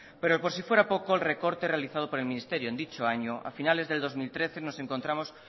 pero por si fuera poco el recorte realizado por el ministerio en dicho año a finales de dos mil trece nos encontramos